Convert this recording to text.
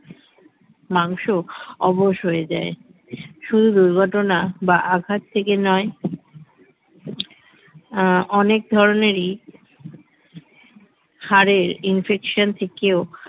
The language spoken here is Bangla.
মাংস অবশ হয়ে যায় শুধু দুর্ঘটনা বা আঘাত থেকে নয় আ অনেক ধরনেরই হাড়ের infection থেকেও